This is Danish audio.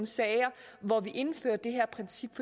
sager hvor vi indfører det her princip